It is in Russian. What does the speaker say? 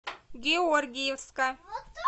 георгиевска